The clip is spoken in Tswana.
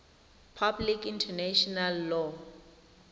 public international law